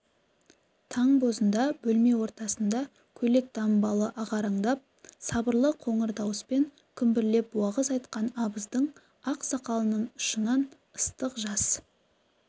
таң бозында бөлме ортасында көйлек-дамбалы ағараңдап сабырлы қоңыр дауыспен күмбірлеп уағыз айтқан абыздың ақ сақалының ұшынан ыстық жас